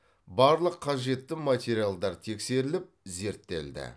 барлық қажетті материалдар тексеріліп зерттелді